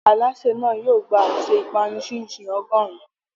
Alásè náà yóò gba àsè ìpanu chin-chin ọgọ́rùn-ún.